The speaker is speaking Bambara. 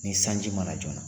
Ni sanji mana joona na.